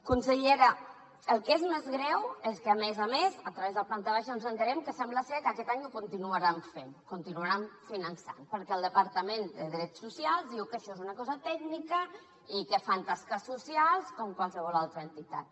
consellera el que és més greu és que a més a més a través de planta baixa ens assabentem que sembla que aquest any i ho continuaran fent continuaran finançant los perquè el departament de drets socials diu que això és una cosa tècnica i que fan tasques socials com qualsevol altra entitat